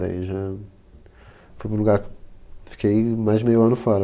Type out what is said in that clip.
Daí já... Fui para um lugar. Fiquei mais de meio ano fora.